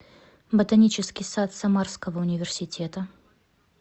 ботанический сад самарского университета